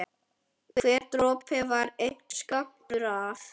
Hver dropi var einn skammtur af